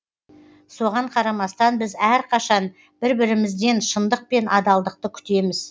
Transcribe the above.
соған қарамастан біз әрқашан бір бірімізден шындық пен адалдықты күтеміз